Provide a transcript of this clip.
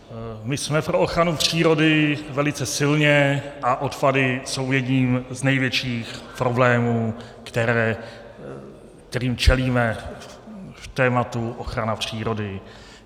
My jsme pro ochranu přírody velice silně a odpady jsou jedním z největších problémů, kterým čelíme v tématu ochrana přírody.